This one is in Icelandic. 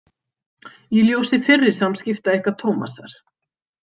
Í ljósi fyrri samskipta ykkar Tómasar.